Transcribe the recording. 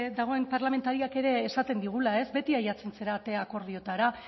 dagoen parlamentarioak ere esaten digula beti ailegatzen zarete akordioetara